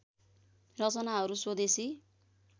रचनाहरू स्वदेशी